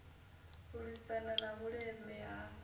u lwisana na vhuleme ha